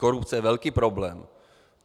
Korupce je velký problém.